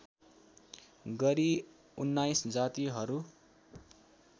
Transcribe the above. गरी १९ जातिहरू